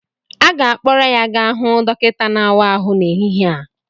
A ga-akpọrọ ya gaa hụ dọkịta na-àwá áhụ n'ehihie a